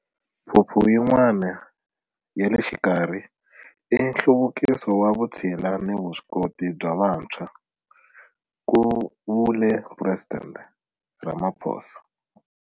Phuphu yin'wana ya le xikarhi i nhluvukiso wa vutshila na vuswikoti bya vantshwa, ku vule Presidente Ramaphosa.